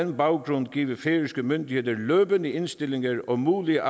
den baggrund give færøske myndigheder løbende indstillinger og mulige